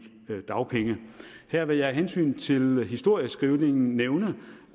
dagpenge her vil jeg af hensyn til historieskrivningen nævne